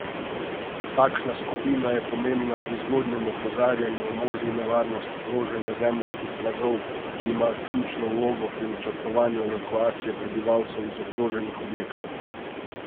Takšna skupina je pomembna pri zgodnjem opozarjanju o možni nevarnosti proženja zemeljskih plazov, ki ima ključno vlogo pri načrtovanju evakuacije prebivalcev iz ogroženih objektov.